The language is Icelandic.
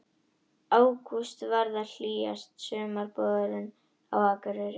Ágúst varð hlýjasti sumarmánuðurinn á Akureyri